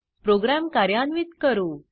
program कार्यान्वित करू